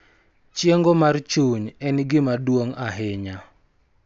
Chiengo mar chuny ni en gima duong� ahinya .